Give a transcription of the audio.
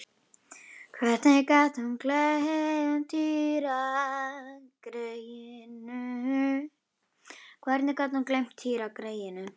Hvernig gat hún gleymt Týra greyinu?